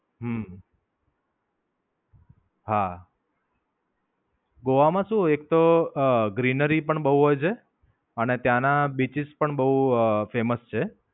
હમ હા, ગોવા માં શું એક તો Greenery પણ બોવ હોય છે. અને ત્યાં ના beaches પણ બોવ famous છે.